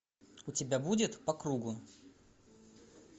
у тебя будет по кругу